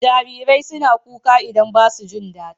Jarirai suna kuka idan ba su jin dadi.